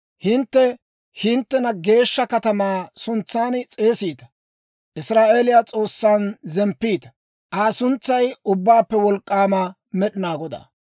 Hintte hinttena geeshsha katamaa suntsan s'eesiita; Israa'eeliyaa S'oossan zemppiita; Aa suntsay Ubbaappe Wolk'k'aama Med'inaa Godaa.